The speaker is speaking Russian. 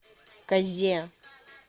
казе